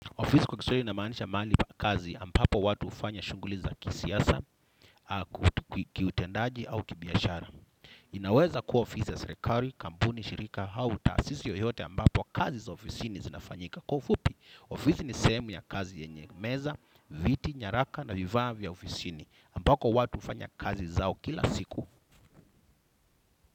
Ofisi kwa kiswahili inamaanisha mali kazi ambapo watu hufanya shunghuli za kisiasa, kiutendaji au kibiashara. Inaweza kuwa ofisi za serikali, kampuni, shirika, au taasisi yoyote ambapo kazi za ofisi ni zinafanyika. Kwa ufupi, ofisi ni sehemu ya kazi yenye meza, viti, nyaraka na vifaa vya ofisini ambapo watu hufanya kazi zao kila siku.